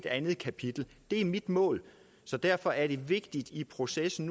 andet kapitel det er mit mål så derfor er det nu vigtigt i processen